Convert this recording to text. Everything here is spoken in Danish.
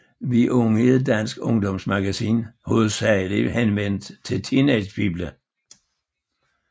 Vi Unge er et dansk ungdomsmagasin hovedsageligt henvendt til teenagepiger